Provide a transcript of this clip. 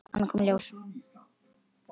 Annað kom í ljós.